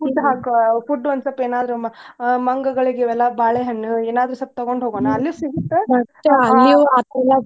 Food food ಒಂದ್ ಏನಾದ್ರು ಮಂಗಗಳಿಗೆ ಎಲ್ಲಾ ಬಾಳೆಹಣ್ಣು ಏನಾದ್ರು ಸ್ವಲ್ಪ ತಗೊಂಡ್ ಹೋಗೋಣು ಅಲ್ಲೂ ಸಿಗತ್ತ .